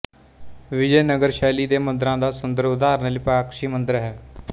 ਵਿਜੈਨਗਰ ਸ਼ੈਲੀ ਦੇ ਮੰਦਿਰਾਂ ਦਾ ਸੁੰਦਰ ਉਦਾਹਰਣ ਲਿਪਾਕਸ਼ੀ ਮੰਦਿਰ ਹੈ